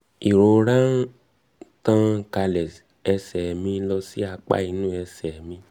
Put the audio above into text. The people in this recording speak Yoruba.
ìrora ń ìrora ń tàn kálẹ̀ ẹ̀sẹ̀ mi lọ sí apá inú ẹ̀sẹ̀ mi